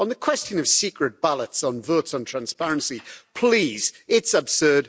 On the question of secret ballots on votes on transparency, please it's absurd.